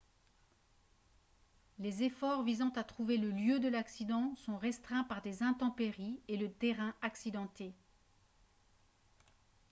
les efforts visant à trouver le lieu de l'accident sont restreints par des intempéries et le terrain accidenté